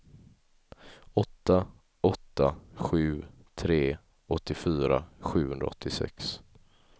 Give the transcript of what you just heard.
åtta åtta sju tre åttiofyra sjuhundraåttiosex